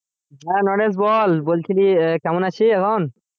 হ্যাঁ নরেশ বল বলছিলি আহ কেমন আছিস এখন?